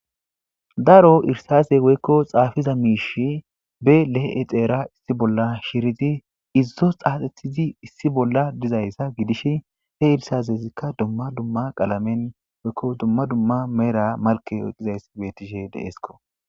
daro irsaze woykko xaafiza miish be le7e xeera issi bolla shiriti izzo xaaxethizi issi bolla dizayssa gidish he irsazezikka dumma dumma qalamen woykko dumma dumma meera malke eqizayssi betishe deesko